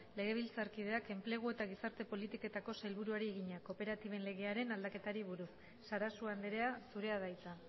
legebiltzarkideak enplegu eta gizarte politiketako sailburuari egina kooperatiben legearen aldaketari buruz sarasua andrea zurea da hitza